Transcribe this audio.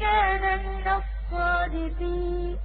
كَانَ مِنَ الصَّادِقِينَ